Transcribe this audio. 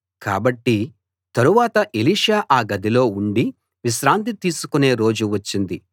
కాబట్టి తరువాత ఎలీషా ఆ గదిలో ఉండి విశ్రాంతి తీసుకునే రోజు వచ్చింది